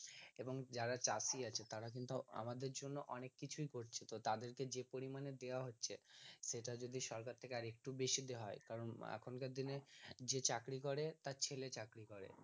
এবং যারা চাষী আছে তারা কিন্তু আমাদের জন্য অনেক কিছুই করছে তো তাদের কে যে পরিমানে দেওয়া হচ্ছে সেটা যদি সরকার থেকে আর একটু বেশি দেওয়া হয় কারন এখানকার দিনে যে চাকরি করে তার ছেলে চাকরি করে